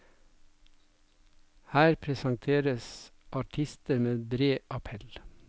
Her presenteres artister med bred appell.